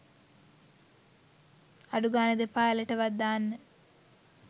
අඩු ගානෙ දෙපා ඇළටවත් දාන්න